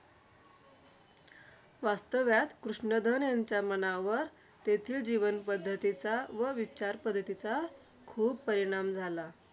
वास्तव्यात कृष्णधान यांच्या मनावर, तेथील जीवनपद्धतीचा व विचारपद्धतीचा खूप परिणाम झाला.